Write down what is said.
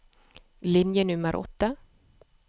Linje nummer åtte